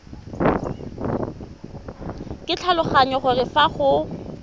ke tlhaloganya gore fa go